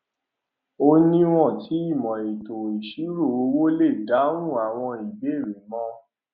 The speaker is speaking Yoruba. ó niwon tí ìmò ètò ìṣirò owó lè dáhùn àwọn ìbéèrè mọ